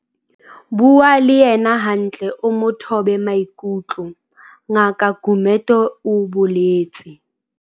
Bua le yena hantle o mo thobe maikutlo, Ngaka Gumede o boletse.